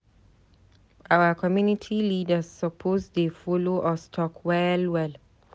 Our community leaders suppose dey follow us talk well well.